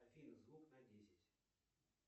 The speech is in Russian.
афина звук на десять